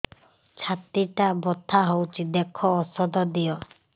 ଛାତି ଟା ବଥା ହଉଚି ଦେଖ ଔଷଧ ଦିଅ